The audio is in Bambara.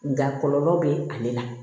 Nka kɔlɔlɔ bɛ ale la